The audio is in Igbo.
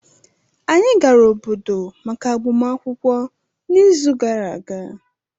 anyị gara obodo maka agbamakwụkwọ n'izu gara aga